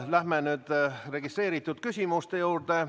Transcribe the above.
Lähme nüüd registreeritud küsimuste juurde.